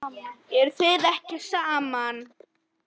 Eruð þið ekki saman?